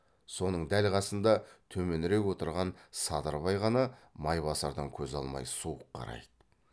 соның дәл қасында төменірек отырған садырбай ғана майбасардан көз алмай суық қарайды